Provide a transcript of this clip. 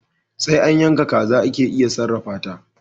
Sai an yaka kaza ake iya sarrafata